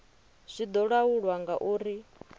zwi do laulwa nga uri